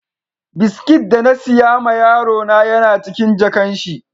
biskit da na siya ma yaro na Yan a cikin jakan shi.